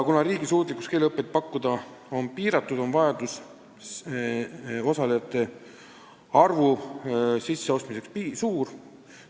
Kuna riigi suutlikkus keeleõpet pakkuda on piiratud, on vaja seada osalejate arvule piir.